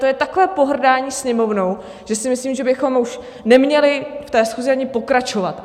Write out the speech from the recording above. To je takové pohrdání Sněmovnou, že si myslím, že bychom už neměli v té schůzi ani pokračovat.